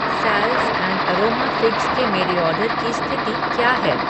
Salts and aroma figs के मेरे order की स्थिति क्या है?